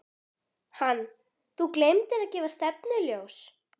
Hann: Þú gleymdir að gefa stefnuljós.